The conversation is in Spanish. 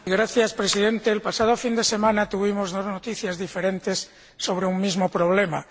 Señor Presidente, el pasado fin de semana tuvimos unas noticias diferentes sobre un mismo problema.